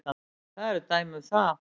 Það eru dæmi um það.